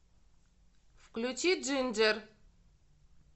включи джинджер